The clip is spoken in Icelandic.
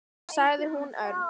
sagði hún örg.